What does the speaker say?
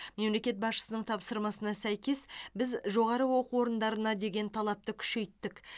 мемлекет басшысының тапсырмасына сәйкес біз жоғары оқу орындарына деген талапты күшейттік